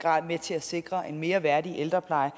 mere værdig ældrepleje